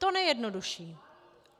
To nejjednodušší.